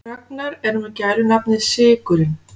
Ragnar er með gælunafnið sykurinn.